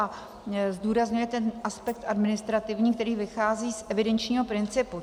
A zdůrazňuje ten aspekt administrativní, který vychází z evidenčního principu.